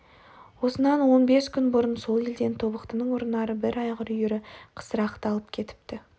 осынан он бес күн бұрын сол елден тобықтының ұрынары бір айғыр үйірі қысырақты алып кетіпті